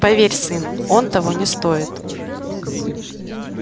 поверь сын он того не стоит